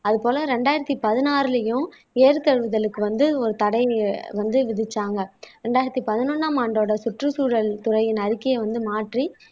அது போல இரண்டாயிரத்தி பதினாறுலயும் ஏறு தழுவுதலுக்கு வந்து ஒரு தடை வந்து விதிச்சாங்க ரெண்டாயிரத்தி பதினொன்னாம் ஆண்டோட சுற்றுச்சூழல் துறையின் அறிக்கையை வந்து மாற்றி